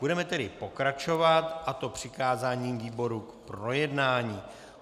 Budeme tedy pokračovat, a to přikázáním výboru k projednání.